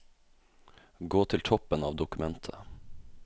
Gå til toppen av dokumentet